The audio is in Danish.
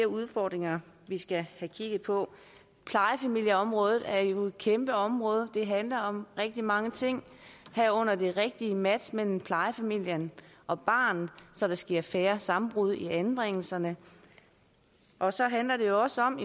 udfordringer vi skal have kigget på plejefamilieområdet er jo et kæmpe område det handler om rigtig mange ting herunder det rigtige match mellem plejefamilien og barnet så der sker færre sammenbrud i anbringelserne og så handler det også om